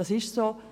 Das ist so.